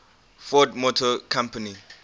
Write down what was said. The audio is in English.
ford motor company